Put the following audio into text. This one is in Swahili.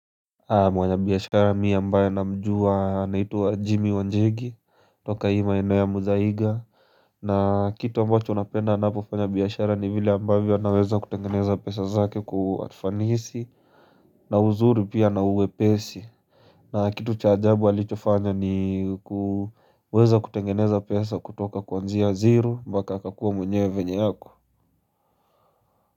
Mwanabiashara mi ambaye namjua anaitwa Jimmy Wanjigi Toka hii maeneo ya Muthaiga na kitu ambacho napenda anavyofanya biashara ni vile ambavyo anaweza kutengeneza pesa zake kua ufanisi na uzuri pia na uwepesi na kitu cha ajabu alichofanya ni kuweza kutengeneza pesa kutoka kuanzia zeri mpaka akakua mwenyewe venye yako.